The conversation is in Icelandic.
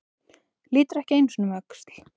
Lítur ekki einu sinni um öxl.